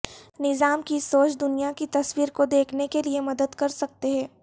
نظام کی سوچ دنیا کی تصویر کو دیکھنے کے لئے مدد کر سکتے ہیں